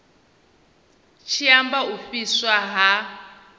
tshi amba u fhiswa ha